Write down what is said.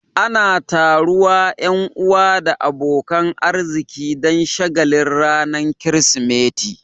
Ana taruwa Yan uwa da abokanan arziki Dan shagalin ranar kirismeti